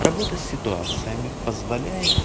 работа с ситуациями позволяет